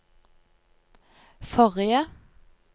forrige